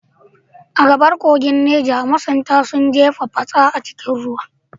A gabar kogin Neja, masunta sun jefa fatsa a cikin ruwa.